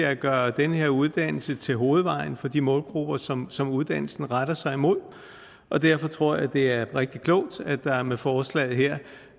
at gøre den her uddannelse til hovedvejen for de målgrupper som som uddannelsen retter sig imod og derfor tror jeg det er rigtig klogt at der med forslaget her